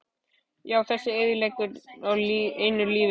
Já, þessa eyðileggingu á einu lífi.